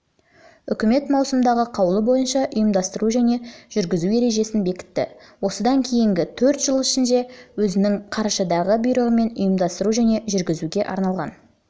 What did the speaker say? үкімет маусымдағы қаулы бойынша ұйымдастыру және жүргізу ережесін бекітті осыдан кейінгі төрт жыл ішінде өзінің қарашадағы бұйрығымен ұйымдастыру және жүргізуге арналған